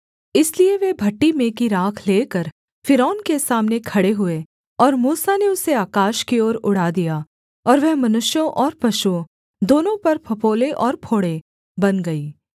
इसलिए वे भट्ठी में की राख लेकर फ़िरौन के सामने खड़े हुए और मूसा ने उसे आकाश की ओर उड़ा दिया और वह मनुष्यों और पशुओं दोनों पर फफोले और फोड़े बन गई